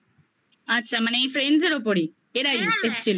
আচ্ছা মানে এই friends -এর ওপরেই হ্যাঁ হ্যাঁ এরাই এসছিল?